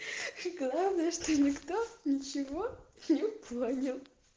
и главное что не кто не чего не понял